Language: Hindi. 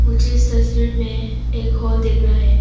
मुझे इस तस्वीर में एक हॉल दिख रहा है।